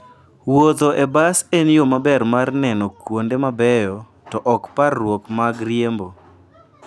Wuotho e bas en yo maber mar neno kuonde mabeyo to ok parruok mag riembo.